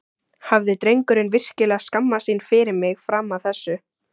Hafði drengurinn virkilega skammast sín fyrir mig fram að þessu?